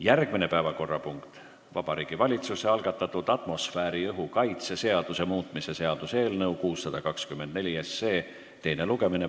Järgmine päevakorrapunkt: Vabariigi Valitsuse algatatud atmosfääriõhu kaitse seaduse muutmise seaduse eelnõu 624 teine lugemine.